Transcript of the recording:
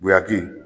Guweyaki